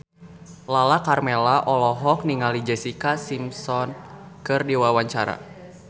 Lala Karmela olohok ningali Jessica Simpson keur diwawancara